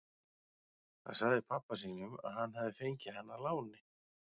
Hann sagði pabba sínum að hann hefði fengið hana að láni.